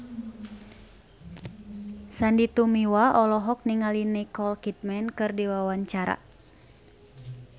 Sandy Tumiwa olohok ningali Nicole Kidman keur diwawancara